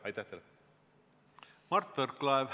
Mart Võrklaev, palun!